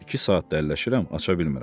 İki saatdır əlləşirəm, aça bilmirəm.